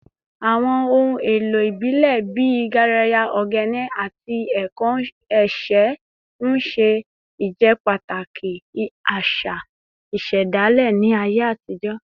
Àwọn ohun èlò ìbílẹ̀ bíi garaya, ogene, àti ẹ̀kọ́ ẹ̀ṣẹ̀ ń ṣe ìjẹ́pàtàkì àṣà ìṣẹ̀dálẹ̀ ní ayé àtijọ́